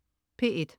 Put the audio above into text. P1: